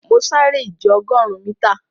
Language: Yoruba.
Mọ̀ sárẹ̀ ìjẹ̀ ogórùn míta.